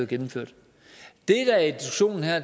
gennemført